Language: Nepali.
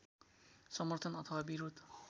समर्थन अथवा विरोध